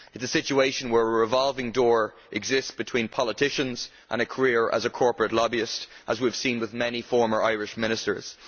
It is a situation where a revolving door exists between politicians and careers as a corporate lobbyist, as we have seen with many former Irish ministers.